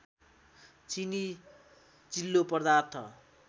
चिनी चिल्लो पदार्थ